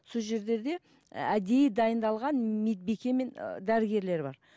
сол і әдейі дайындалған медбике мен ы дәрігерлер бар